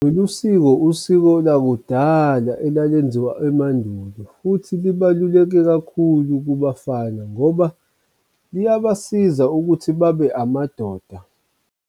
Lolu siko usiko lakudala elalenziwa emandulo futhi libaluleke kakhulu kubafana ngoba liyabasiza ukuthi babe amadoda.